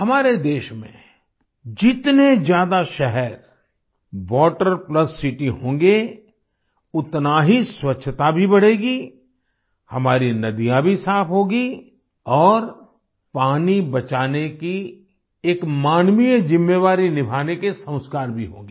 हमारे देश में जितने ज्यादा शहर वाटर प्लस सिटी होंगे उतना ही स्वच्छता भी बढ़ेगी हमारी नदियाँ भी साफ होंगी और पानी बचाने की एक मानवीय जिम्मेवारी निभाने के संस्कार भी होंगे